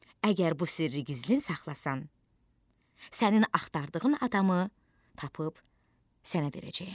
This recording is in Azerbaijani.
Əgər bu sirri gizlin saxlasan, sənin axtardığın adamı tapıb sənə verəcəyəm.